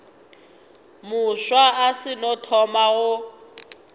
mofsa o seno thoma go